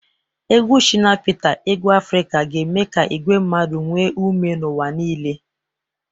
Egwu Shina Peter egwu Afrika ga-eme ka igwe mmadụ nwee ume n'ụwa niile.